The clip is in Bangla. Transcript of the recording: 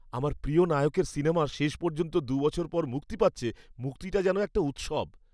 আমার প্রিয় নায়কের সিনেমা শেষ পর্যন্ত দু বছর পর মুক্তি পাচ্ছে, মুক্তিটা যেন একটা উৎসব।